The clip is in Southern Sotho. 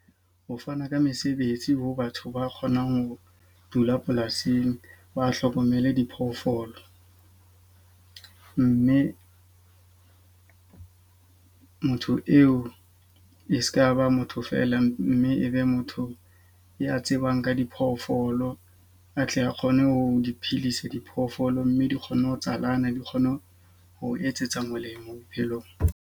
Ho fana ka mesebetsi ho batho ba kgonang ho dula polasing ba hlokomele diphoofolo. Mme motho eo e seka ba motho feela, mme e be motho ya tsebang ka diphoofolo atle a kgone ho di phedisa diphoofolo. Mme di kgonne ho tsanyalana, di kgone ho ho etsetsa molemo bophelong.